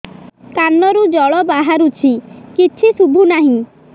କାନରୁ ଜଳ ବାହାରୁଛି କିଛି ଶୁଭୁ ନାହିଁ